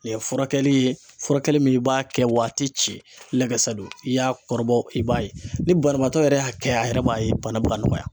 Nin ye furakɛli furakɛli min i b'a kɛ wa a ti ci lɛkɛsɛ do i y'a kɔrɔbɔ i b'a ye ni banabaatɔ yɛrɛ y'a kɛ a yɛrɛ b'a ye bana bɛ ka nɔgɔya.